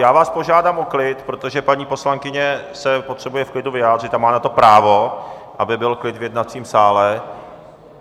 Já vás požádám o klid, protože paní poslankyně se potřebuje v klidu vyjádřit a má na to právo, aby byl klid v jednacím sále.